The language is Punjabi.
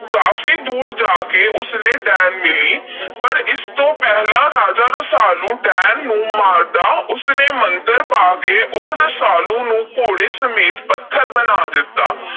ਕਾਫ਼ੀ ਦੂਰ ਜਾ ਕੇ ਉਸ ਨੂੰ ਡੈਣ ਮਿਲੀ। ਪਰ ਇਸ ਤੋਂ ਪਹਿਲਾਂ ਕਿ ਰਸਾਲੂ ਡੈਣ ਨੂੰ ਮਾਰਦਾ, ਉਸ ਨੇ ਮੰਤਰ ਪੜ੍ਹ ਕੇ ਉਸ ਰਸਾਲੂ ਨੂੰ ਘੋੜੇ ਸਮੇਤ ਪੱਥਰ ਬਣਾ ਦਿੱਤਾ।